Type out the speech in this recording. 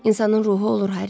İnsanın ruhu olur, Harry.